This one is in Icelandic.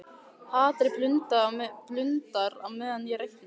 Hatrið blundar á meðan ég reikna.